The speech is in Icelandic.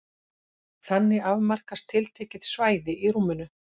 Þannig afmarkast tiltekið svæði í rúminu.